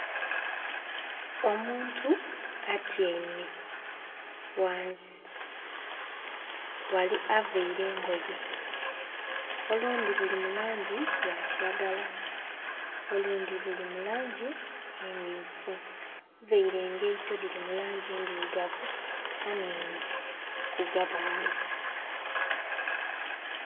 Omuntu atyaime ghansi avaire engoye. Olundi luli mulangi ya kiragala olundi luli mulangi emyufu. Avaire engaito diri mulangi ndirugavu aninye kugabale